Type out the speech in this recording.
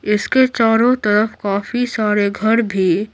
इसके चारों तरफ काफी सारे घर भी --